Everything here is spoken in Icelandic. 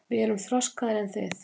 Við erum þroskaðri en þið.